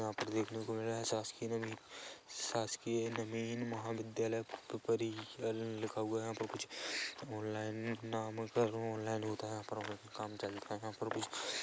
यहाँ पर देखने को मिल रहा है शासकीय नवीन शासकीय नवीन महाविद्यालय परिकल लिखा हुआ है यहाँ पर कुछ ऑनलाइन नाम करो ऑनलाइन होता है यहाँ पर काम चलता है यहाँ पर कुछ--